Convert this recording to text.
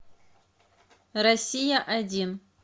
россия один